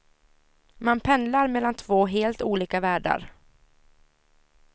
Man pendlar mellan två helt olika världar.